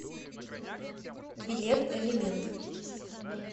билет элемент